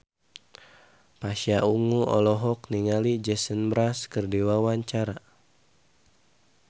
Pasha Ungu olohok ningali Jason Mraz keur diwawancara